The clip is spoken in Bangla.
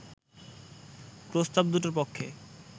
প্রস্তাব দুটোর পক্ষে